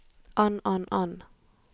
an an an